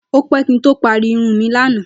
Ó pé̩ kí n tó parí irun mi lánàá